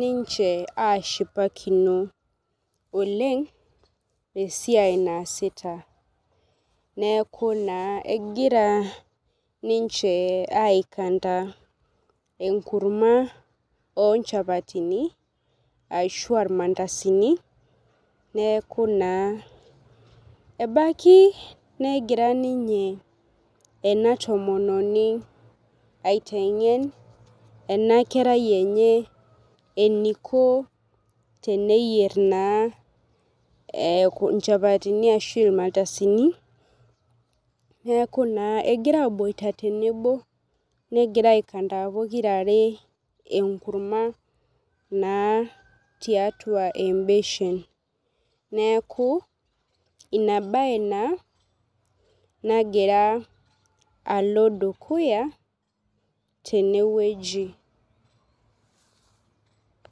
ninche ashipakino oleng' esiai naasita. Neeku naa egira ninche ai kanda enkurma oo nchapatini ashua ilmandasini neeku naa ebaki negira ninye ena tomononi aiteng'en ena kerai enye eniko teneyier naa inchapatini ashu ilmandasini. Neeku naa egira aboita tenebo, negira ai kanda pokirare enkurma naa tiatua ebeshen neeku ina bae naa nagira alo dukuya teneweji.